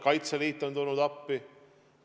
Kaitseliit on tulnud appi.